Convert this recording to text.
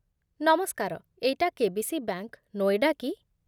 ନମସ୍କାର, ଏଇଟା KBC. Bank, Noida କି?